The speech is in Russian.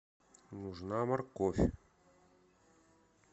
нужна морковь